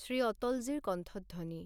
শ্ৰী অটলজীৰ কণ্ঠধ্বনি